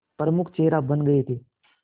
प्रमुख चेहरा बन गए थे